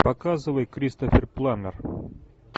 показывай кристофер пламмер